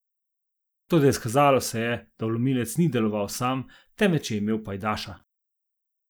Toda izkazalo se je, da vlomilec ni deloval sam, temveč je imel pajdaša.